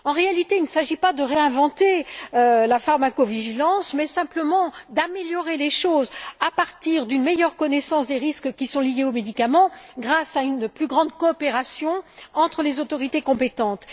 En réalité, il ne s'agit pas de réinventer la pharmacovigilance, mais simplement d'améliorer les choses à partir d'une meilleure connaissance des risques qui sont liés aux médicaments, grâce à une plus grande coopération entre les autorités compétentes.